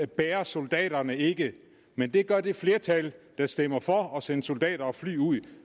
bærer soldaterne ikke men det gør det flertal der stemmer for at sende soldater og fly ud